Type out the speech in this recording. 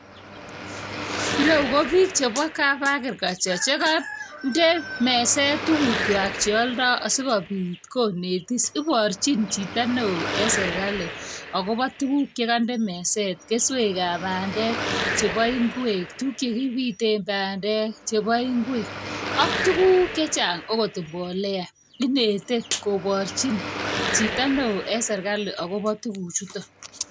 Ireu ko bik chebo kap agriculture, chekonde meset tugukchwak cheoldooo, asikobiit konetisi. Iboorchin chito newo serkali akobo tuguuk chekonde meset, Keswekab bandek, chebo ingwek. Tuguk chekibiten bandek, chebo ingwek ak tuguuk chechang, akot mbolea(cs,).Inete koboorchin chito newo en serkali akobo tuguchu.